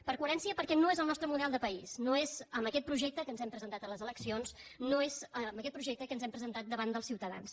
per coherència perquè no és el nostre model de país no és amb aquest projecte que ens hem presentat a les eleccions no és amb aquest projecte que ens hem presentat davant dels ciutadans